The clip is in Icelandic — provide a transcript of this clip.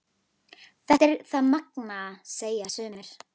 Þetta er það magnaða, segja sumir.